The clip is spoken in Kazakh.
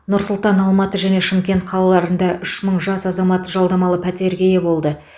нұр сұлтан алматы және шымкент қалаларында үш мың жас азамат жалдамалы пәтерге ие болды